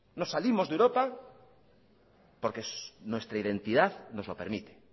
nos salimos de europa porque nuestra identidad nos lo permite